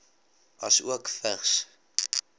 asook vigs